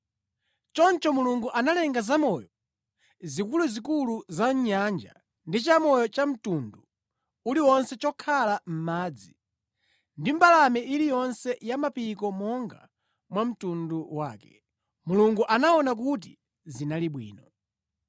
Choncho Mulungu analenga zamoyo zikuluzikulu za mʼnyanja ndi chamoyo chamtundu uliwonse chokhala mʼmadzi ndi mbalame iliyonse ya mapiko monga mwa mtundu wake. Mulungu anaona kuti zinali bwino.